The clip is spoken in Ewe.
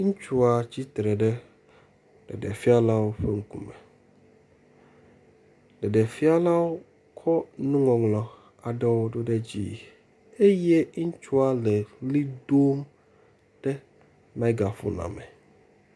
Ŋutsua tsitre ɖe ɖeɖefialawo ƒe ŋkume. Ɖeɖefialawo kɔ nuŋɔŋlɔ aɖewo do ɖe dzi ye ŋutsua le ʋli dom ɖe megafunia me.